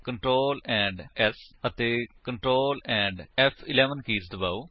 Ctrl ਏਐਮਪੀ S ਅਤੇ Ctrl ਏਐਮਪੀ ਫ਼11 ਕੀਜ ਦਬਾਓ